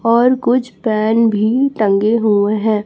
और कुछ फैन भी टंगे हुए हैं।